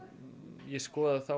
ég skoðaði þá